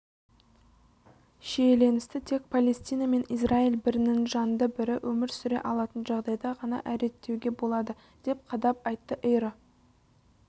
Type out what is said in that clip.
шиеленісті тек палестина мен израиль бірінің жанында бірі өмір сүре алатын жағдайда ғана реттеуге болады деп қадап айтты эйро